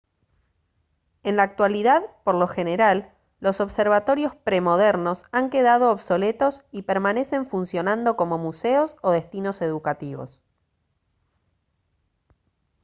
en la actualidad por lo general los observatorios premodernos han quedado obsoletos y permanecen funcionando como museos o destinos educativos